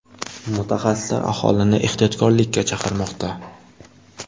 Mutaxassislar aholini ehtiyotkorlikka chaqirmoqda.